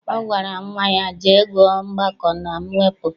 Ọ gwara nnwa ya, jee gụọ mgbakọ na mwepụ!